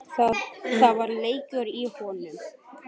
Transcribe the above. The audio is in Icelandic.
Það var leikur í honum